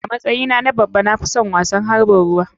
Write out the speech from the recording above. A matsyi na na babba na fison wasan harɓin ruwa.